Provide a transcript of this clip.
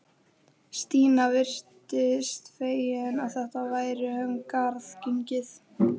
Stína virtist fegin að þetta væri um garð gengið.